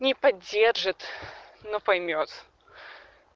не поддержит но поймёт